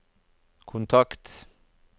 kontakt